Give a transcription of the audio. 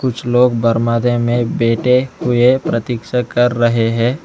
कुछ लोग बरमादे में बैठे हुए प्रतीक्षा कर रहे हैं।